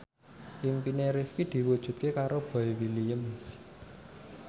impine Rifqi diwujudke karo Boy William